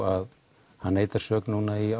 að hann neitar sök núna í